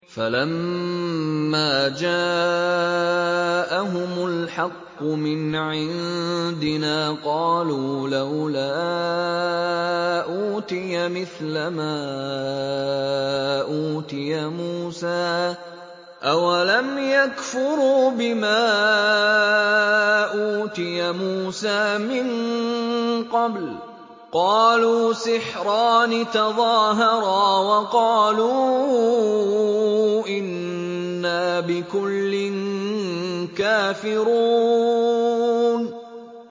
فَلَمَّا جَاءَهُمُ الْحَقُّ مِنْ عِندِنَا قَالُوا لَوْلَا أُوتِيَ مِثْلَ مَا أُوتِيَ مُوسَىٰ ۚ أَوَلَمْ يَكْفُرُوا بِمَا أُوتِيَ مُوسَىٰ مِن قَبْلُ ۖ قَالُوا سِحْرَانِ تَظَاهَرَا وَقَالُوا إِنَّا بِكُلٍّ كَافِرُونَ